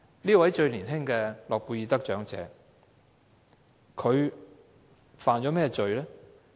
這位最年輕的諾貝爾和平獎得主犯了甚麼罪？